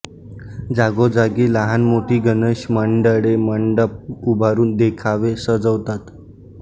जागोजागी लहानमोठी गणेश मंडळे मंडप उभारून देखावे सजवतात